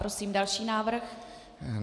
Prosím další návrh.